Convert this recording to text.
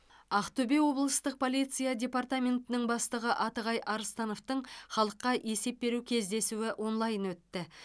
ақтөбе облыстық полиция департаментінің бастығы атығай арыстановтың халыққа есеп беру кездесуі онлайн өтті